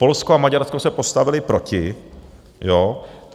Polsko a Maďarsko se postavily proti.